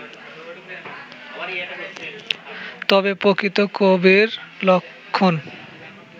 তবে প্রকৃত কবির লক্ষণ